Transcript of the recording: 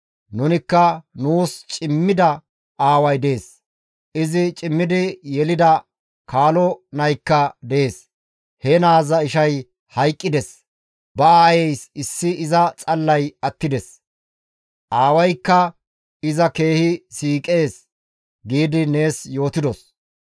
Nunikka, ‹Nuus cimmida aaway dees; izi cimmidi yelida kaalo naykka dees; he naaza ishay hayqqides; ba aayeeys issi iza xallay attides; aawaykka iza keehi siiqees› gi nees yootidos.